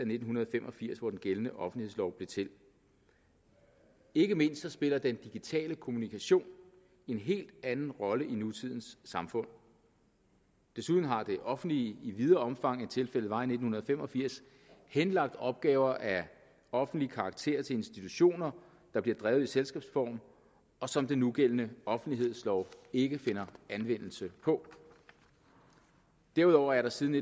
nitten fem og firs hvor den gældende offentlighedslov blev til ikke mindst spiller den digitale kommunikation en helt anden rolle i nutidens samfund desuden har det offentlige i videre omfang end tilfældet var i nitten fem og firs henlagt opgaver af offentlige karakter til institutioner der bliver drevet i selskabsform og som den nugældende offentlighedslov ikke finder anvendelse på derudover er der siden